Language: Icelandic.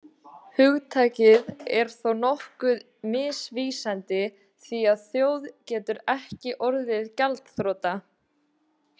Hugtakið er þó nokkuð misvísandi því að þjóð getur ekki orðið gjaldþrota.